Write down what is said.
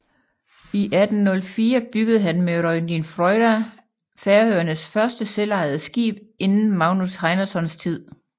I 1804 byggede han med Royndin Fríða Færøernes første selvejede skib siden Magnus Heinasons tid